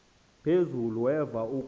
phezulu weva ukuba